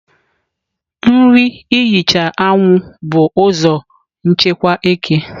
nri ihicha anwụ bụ ụzọ nchekwa eke.